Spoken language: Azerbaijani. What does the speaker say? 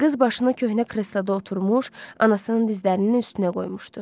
Qız başını köhnə krestoda oturmuş, anasının dizlərinin üstünə qoymuşdu.